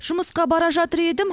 жұмысқа бара жатыр едім